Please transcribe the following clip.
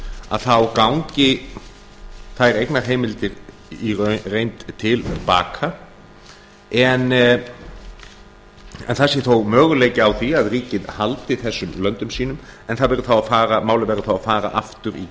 að þá gangi þær eignarheimildir í reynd til baka en það sé þó möguleiki á því að ríkið haldi þessum löndum sínum en málið verður þá að fara aftur í